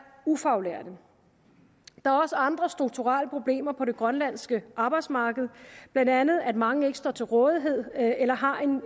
ufaglærte der er også andre strukturelle problemer på det grønlandske arbejdsmarked blandt andet at mange ikke står til rådighed eller har en